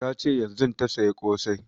Ta ce yanzun ta saya ƙosai